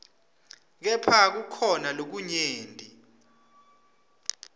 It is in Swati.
kepha kukhona lokunyenti